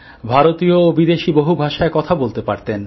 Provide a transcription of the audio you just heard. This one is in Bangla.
ভারতীয় ও বিদেশী বহু ভাষায় কথা বলতে পারতেন